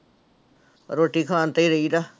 ਰੋਟੀ ਖਾਣ ਤੇ ਹੀ ਰਹੀਦਾ।